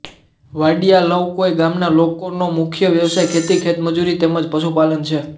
વાડીયા લવકોઇ ગામના લોકોનો મુખ્ય વ્યવસાય ખેતી ખેતમજૂરી તેમ જ પશુપાલન છે